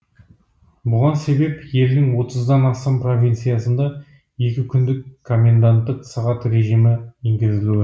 бұған себеп елдің отыздан астам провинциясында екі күндік коменданттық сағат режимі енгізілуі